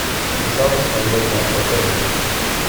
замуж на два дня показывай